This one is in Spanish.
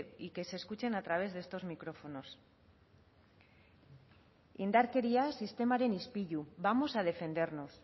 y que se escuchen a través de estos micrófonos indarkeria sistemaren ispilu vamos a defendernos